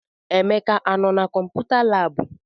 Emeka anọ na kọmputa laabụ?